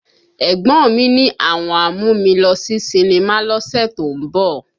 Ẹ̀gbọ́n mí ní àwọn á mú mi lọ sí sinimá lọ́sẹ̀ tó ń bọ̀